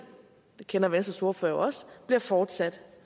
kender venstres ordfører jo også bliver fortsat